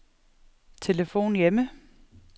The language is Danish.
telefon hjemme